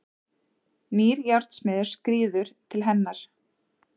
Nýr járnsmiður skríður til hennar.